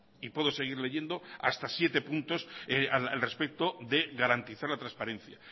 y puedo seguir leyendo hasta siete puntos al respecto de garantizar la transparencia